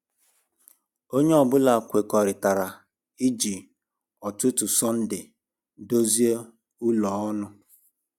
Onye ọ bụla kwekọrịtara iji ụtụtụ Sọnde dozi ụlọ ọnụ.